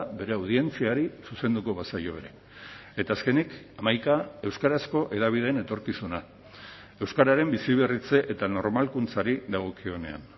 bere audientziari zuzenduko bazaio ere eta azkenik hamaika euskarazko hedabideen etorkizuna euskararen biziberritze eta normalkuntzari dagokionean